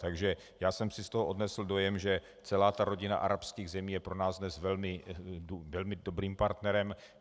Takže já jsem si z toho odnesl dojem, že celá ta rodina arabských zemí je pro nás dnes velmi dobrým partnerem.